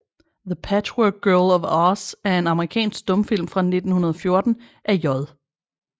The Patchwork Girl of Oz er en amerikansk stumfilm fra 1914 af J